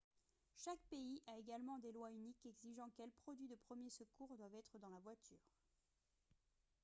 chaque pays a également des lois uniques exigeant quels produits de premier secours doivent être dans la voiture